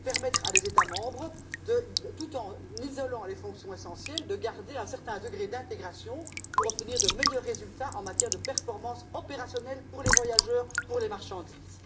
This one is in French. Elle consiste à permettre à des États membres, tout en isolant les fonctions essentielles, de garder un certain degré d'intégration pour obtenir de meilleurs résultats en matière de performances opérationnelles pour les voyageurs et pour les marchandises.